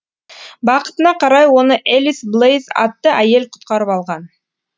бақытына қарай оны элис блейз атты әйел құтқарып қалған